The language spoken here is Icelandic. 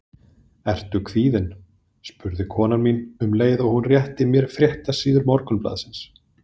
Ertu kvíðinn? spurði kona mín, um leið og hún rétti mér fréttasíður morgunblaðsins.